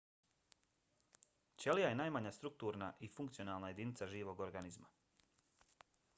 ćelija je najmanja strukturna i funkcionalna jedinica živog organizma